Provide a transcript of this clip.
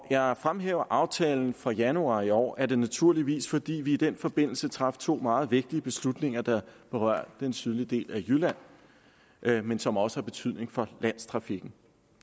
jeg fremhæver aftalen fra januar i år er det naturligvis fordi vi i den forbindelse traf to meget vigtige beslutninger der berørte den sydlige del af jylland men som også har betydning for landstrafikken